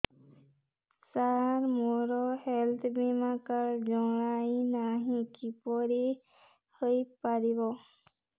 ସାର ମୋର ହେଲ୍ଥ ବୀମା କାର୍ଡ ବଣାଇନାହିଁ କିପରି ହୈ ପାରିବ